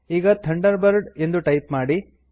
ಈಗ ಥಂಡರ್ಬರ್ಡ್ ಎಂದು ಟೈಪ್ ಮಾಡಿ